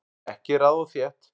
Ekki raða of þétt